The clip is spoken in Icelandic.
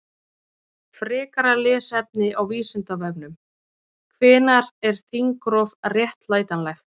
Frekara lesefni á Vísindavefnum: Hvenær er þingrof réttlætanlegt?